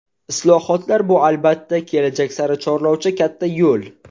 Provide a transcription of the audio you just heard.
Islohotlar bu, albatta, kelajak sari chorlovchi katta yo‘l.